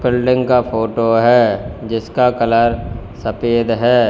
Building का photo है जिसका कलर सफेद है।